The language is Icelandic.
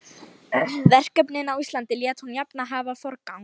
Verkefnin á Íslandi lét hún jafnan hafa forgang.